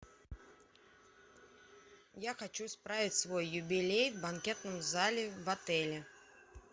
я хочу справить свой юбилей в банкетном зале в отеле